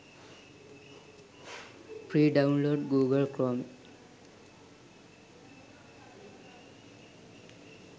free download google chrome